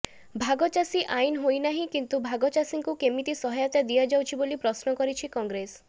ଭାଗ ଚାଷୀ ଆଇନ ହୋଇ ନାହିଁ କିନ୍ତୁ ଭାଗଚାଷୀଙ୍କୁ କେମିତି ସହାୟତା ଦିଆଯାଉଛି ବୋଲି ପ୍ରଶ୍ନ କରିଛି କଂଗ୍ରେସ